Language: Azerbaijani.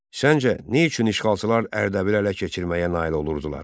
Sizcə nə üçün işğalçılar Ərdəbili ələ keçirməyə nail olurdular?